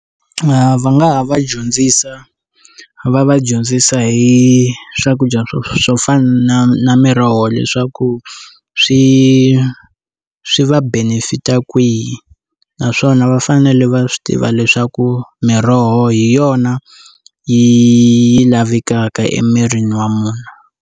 Va nga ha va dyondzisa va va dyondzisa hi swakudya swo swo fana na miroho leswaku swi swi va benefita kwihi naswona va fanele va swi tiva leswaku miroho hi yona yi lavekaka emirini wa munhu.